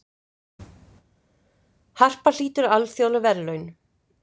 Harpa hlýtur alþjóðleg verðlaun